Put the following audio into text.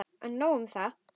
En nóg um það.